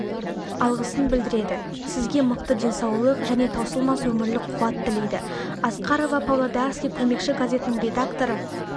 алғысын білдіреді сізге мықты денсаулық және таусылмас өмірлік қуат тілейді асқарова павлодарский көмекші газетінің редакторы